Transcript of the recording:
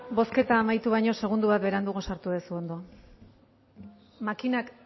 bozketa amaitu baino segundo bat beranduago sartu duzu ondo makinak